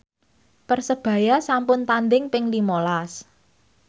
Persebaya sampun tandhing ping lima las